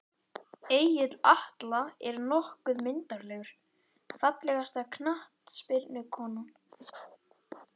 Egill Atla er nokkuð myndarlegur Fallegasta knattspyrnukonan?